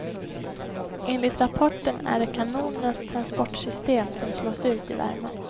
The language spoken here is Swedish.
Enligt rapporten är det kanonernas transportsystem som slås ut i värmen.